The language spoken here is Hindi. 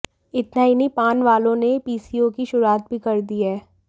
इतना ही नहीं पान वालों ने पीसीओ की शुरूआत भी कर दी है